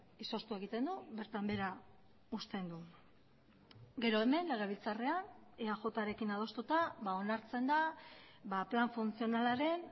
izoztu egiten du bertan behera uzten du gero hemen legebiltzarrean eajrekin adostuta onartzen da plan funtzionalaren